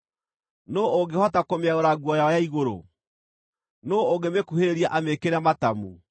Nũũ ũngĩhota kũmĩaũra nguo yayo ya igũrũ? Nũũ ũngĩmĩkuhĩrĩria amĩĩkĩre matamu?